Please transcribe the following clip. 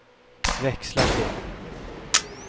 växla till